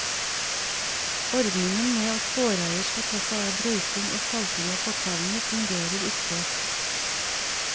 Ordningen med at gårdeier skal ta seg av brøyting og salting av fortauene, fungerer ikke.